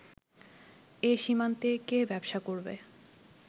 এ সীমান্তে কে ব্যবসা করবে